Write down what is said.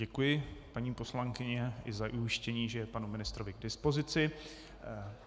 Děkuji paní poslankyni i za ujištění, že je panu ministrovi k dispozici.